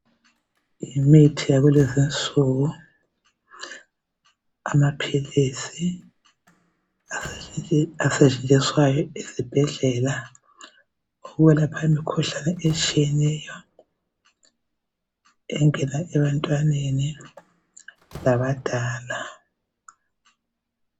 Imithi yakulezinsuku, amaphilisi asetshenziswayo esibhedlela ukwelapha imikhuhlane etshiyeneyo, engena ebantwaneni labadala.